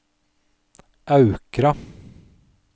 Aukra